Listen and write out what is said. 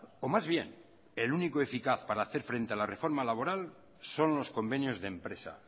o más bien el único eficaz para hacer frente a la reforma laboral sonlos convenios de empresa